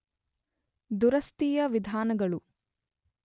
ದುರಸ್ತಿಯ ವಿಧಾನಗಳು